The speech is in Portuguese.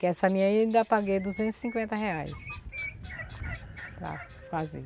Que essa minha aí eu ainda paguei duzentos e cinquenta reais para fazer.